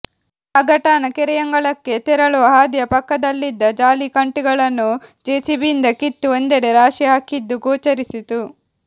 ನಾಗಠಾಣ ಕೆರೆಯಂಗಳಕ್ಕೆ ತೆರಳುವ ಹಾದಿಯ ಪಕ್ಕದಲ್ಲಿದ್ದ ಜಾಲಿ ಕಂಟಿಗಳನ್ನು ಜೆಸಿಬಿಯಿಂದ ಕಿತ್ತು ಒಂದೆಡೆ ರಾಶಿ ಹಾಕಿದ್ದು ಗೋಚರಿಸಿತು